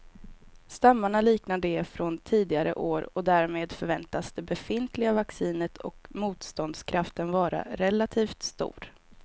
Stammarna liknar de från tidigare år och därmed förväntas det befintliga vaccinet och motståndskraften vara relativt stor.